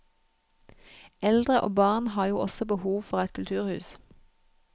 Eldre og barn har jo også behov for et kulturhus.